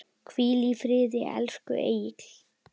Hvíl í friði, elsku Egill.